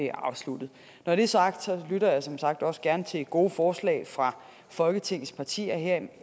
er afsluttet når det er sagt lytter jeg som sagt også gerne til gode forslag fra folketingets partier herunder